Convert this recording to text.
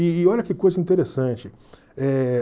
E olha que coisa interessante. Eh